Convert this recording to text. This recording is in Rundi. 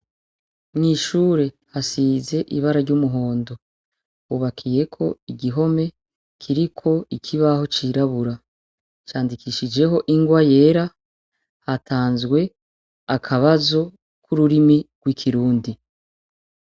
Mw'ishure hasize ibara ry'umuhondo, hubakiyeko igihome kiriko ikibaho cirabura candikishijeho ingwa yera. Hatanzwe akabazo ku rurimi rw'Ikirundi.